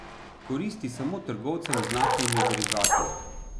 Koristi samo trgovcem z naftnimi derivati.